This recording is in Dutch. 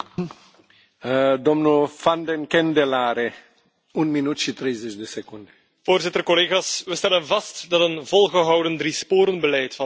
We stellen vast dat een volgehouden driesporenbeleid van investeringen, structurele hervormingen en gezonde overheidsfinanciën zijn vruchten begint af te werpen.